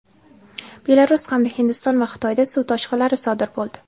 Belarus hamda Hindiston va Xitoyda suv toshqinlari sodir bo‘ldi.